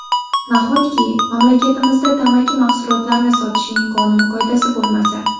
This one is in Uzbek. Nahotki, mamlakatimizda tamaki mahsulotlarini sotishning qonun-qoidasi bo‘lmasa!